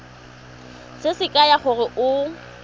se se kaya gore o